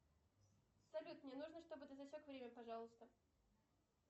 салют мне нужно чтобы ты засек время пожалуйста